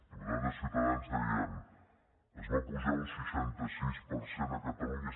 diputats de ciutadans deien es va apujar un seixanta sis per cent a catalunya